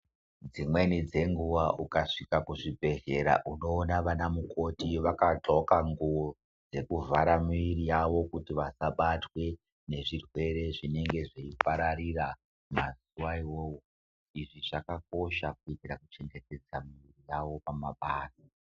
Dzimweni dzekunguva ukazvika kuzvibhedhlera unoona vana mukoti vakadxoka nguwo dzekuvhara miviri yavo kuti vasabatwe nezvirwere zvinenge zveipararira manguva iwowo. Izvi zvakakosha kuitira kuchengetedza mwiri dzavo pamabasa.